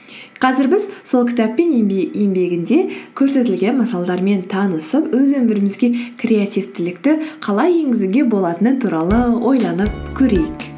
қазір біз сол кітаппен еңбегінде көрсетілген мысалдармен танысып өз өмірімізге креативтілікті қалай енгізуге болатыны туралы ойланып көрейік